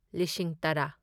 ꯂꯤꯁꯤꯡ ꯇꯔꯥ